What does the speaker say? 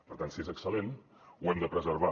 per tant si és excel·lent ho hem de preservar